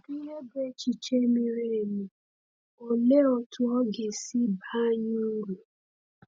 Kedu ihe bụ echiche miri emi, olee otú ọ ga-esi baa anyị uru?